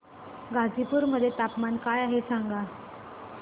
गाझीपुर मध्ये तापमान काय आहे सांगा